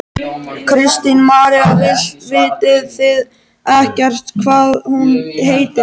Kristín María: Vitið þið ekkert hvað hún heitir?